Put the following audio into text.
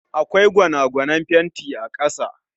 Akwai gwanagwanen fenti a kasa